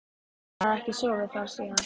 Hann hafði ekki sofið þar síðan.